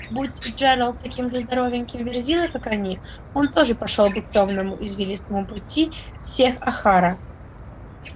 будь джералд таким же здоровеньким верзилой как они он тоже пошёл бы к тёмному извилистому пути всех охара